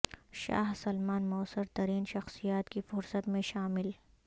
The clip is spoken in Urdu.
شاہ سلمان موثر ترین شخصیات کی فہرست میں شامل